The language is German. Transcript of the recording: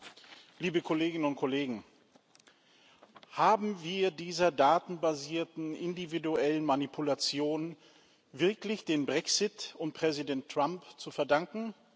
Herr Präsident, liebe Kolleginnen und Kollegen! Haben wir dieser datenbasierten individuellen Manipulation wirklich den Brexit und Präsident Trump zu verdanken?